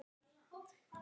Jafn vel og hún?